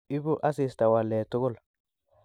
Ibu asista waleet tugul